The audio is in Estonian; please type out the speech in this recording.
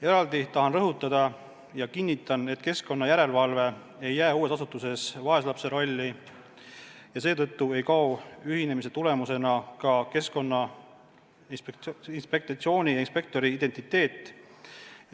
Eraldi tahan rõhutada ja kinnitan, et keskkonna järelevalve ei jää uues asutuses vaeslapse rolli ja seetõttu ei kao ühinemise tagajärjel ka Keskkonnainspektsiooni inspektori identiteet.